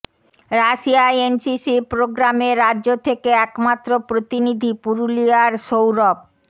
রাশিয়ায় এনসিসির প্রোগ্রামে রাজ্য থেকে একমাত্র প্রতিনিধি পুরুলিয়ার সৌরভ